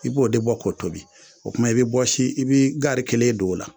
I b'o de bɔ k'o tobi o tuma i be bɔsi i be gari kelen don o la